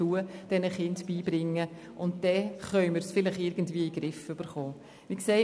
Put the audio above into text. Auf diese Weise können wir dem Problem unter Umständen entgegenwirken.